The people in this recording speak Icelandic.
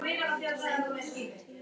Kjaran, hvað er að frétta?